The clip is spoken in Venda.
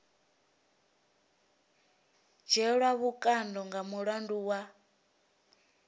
dzhielwa vhukando nga mulandu wa